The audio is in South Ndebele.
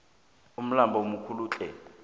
umlambo mukulutle